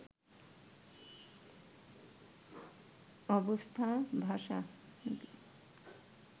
Avesta ভাষা